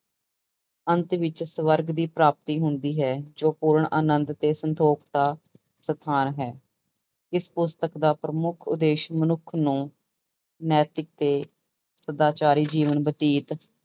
ਅੰਤ ਵਿੱਚ ਸਵਰਗ ਦੀ ਪ੍ਰਾਪਤੀ ਹੁੰਦੀ ਹੈ ਜੋ ਪੂਰਨ ਆਨੰਦ ਤੇ ਸੰਤੋਖ ਦਾ ਸਥਾਨ ਹੈ, ਇਸ ਪੁਸਤਕ ਦਾ ਪ੍ਰਮੁੱਖ ਉਦੇਸ਼ ਮਨੁੱਖ ਨੂੰ ਨੈਤਿਕ ਤੇ ਸਦਾਚਾਰੀ ਜੀਵਨ ਬਤੀਤ